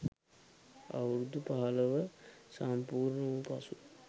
අවුරුදු පහළොව සම්පූර්ණ වූ පසු